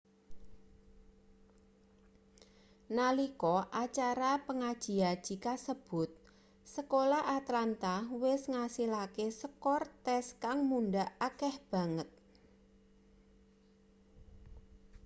nalika acara pangaji-aji kasebut sekolah atlanta wis ngasilake skor tes kang mundhak akeh banget